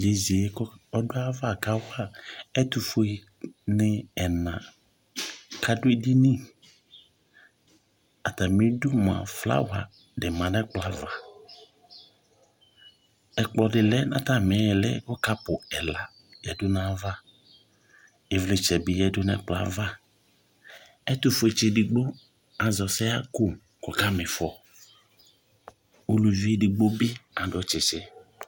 yeye k'ɔdu ayi ava ka wa ɛtufue ni ɛna k'adu edini atami du moa flawa di ma n'ɛkplɔ ava ɛkplɔ di lɛ n'atami ili kò kɔpu ɛla ya du n'ava ivlitsɛ bi yadu n'ɛkplɔ ava ɛtufue tsi edigbo azɛ ɔsɛ ɣa kò k'ɔka m'ifɔ uluvi edigbo bi adu tsitsi